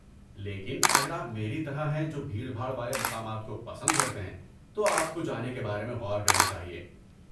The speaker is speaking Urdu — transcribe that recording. لیکن، اگر آپ میری طرح ہیں جو بھیڑ بھاڑ والے مقامات کو پسند کرتے ہیں، تو آپ کو جانے کے بارے میں غور کرنا چاہیے۔